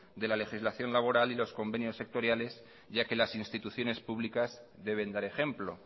de la legislación laboral y los convenios sectoriales ya que las instituciones públicas deben dar ejemplo